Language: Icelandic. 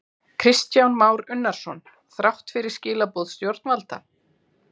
Kristján Már Unnarsson: Þrátt fyrir skilaboð stjórnvalda?